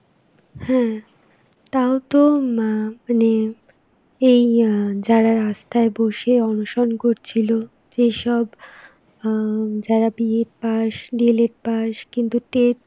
হ্যাঁ, তাওতো মা~ মানে এই আ যারা রাস্তায় বসে অনশন করছিল, যেসব উম যারা B.ED pass, D.LD pass কিন্তু TET